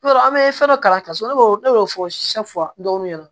I b'a dɔn an be fɛn dɔ kalan so ne b'o ne y'o fɔ dɔw ɲɛna